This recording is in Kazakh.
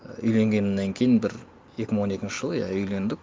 үйленгеннен кейін бір екі мың он екінші жылы иә үйлендік